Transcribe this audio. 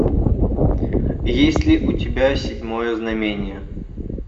есть ли у тебя седьмое знамение